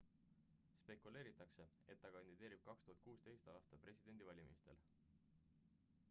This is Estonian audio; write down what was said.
spekuleeritakse et ta kandideerib 2016 aasta presidendivalimistel